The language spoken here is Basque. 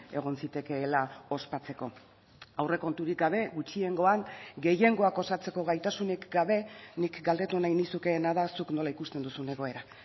egon zitekeela ospatzeko aurrekonturik gabe gutxiengoan gehiengoak osatzeko gaitasunik gabe nik galdetu nahi nizukeena da zuk nola ikusten duzun egoera